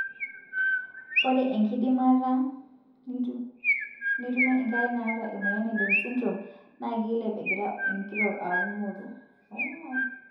ore enkidimata nitumie enkerai naata emoyian e down sydrome na kileep engira enkitok aaku moruo.